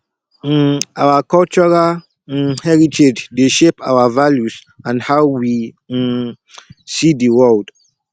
um our cultural um heritage dey shape our values and how we um see di world